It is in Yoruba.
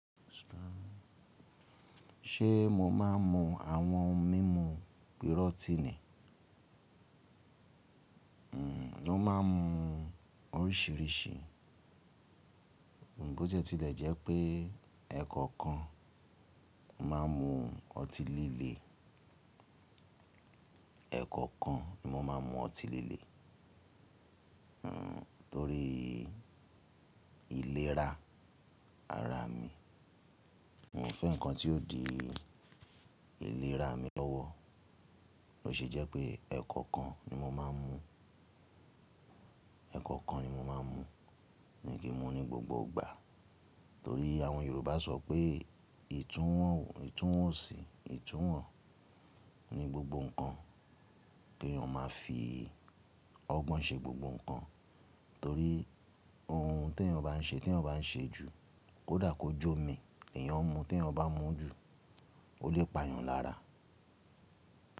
Ṣé mo máa ń mu àwọn mímu pirotini? N ò máa ń mu oríṣìíríṣìí, bó tí ó ṣe ti lẹ̀ jẹ́ pé ẹ̀kọ̀kan máa ń mu ọtí líle. Ẹ̀kọ̀kan ni mọ́ n máa ń mu ọtí líle, nítorí ìlera ara mi. Mi o fẹ́ nǹkan tí yóò dì ìlera mi lọ́wọ́. Ó ṣe jẹ́ pé ẹ̀kọ̀kan ni mo máa ń mu, ẹ̀kọ̀kan ni mo máa ń mu, mi ò kí n mu ní gbogbo ìgbà, torí àwọn Yorùbá sọ pé ìtúwọ̀n ò itunwon sí, ìtúwọ̀n ni gbogbo nǹkan. Kí èèyàn máa fi ọgbọ́n ṣe gbogbo nǹkan, torí ohun tí èèyàn bá ń ṣe tí èèyàn bá ń ṣe jù, kòdà kó jómi, èèyàn mu tí èèyàn bá ń mu jù ó lè pa èèyàn lára.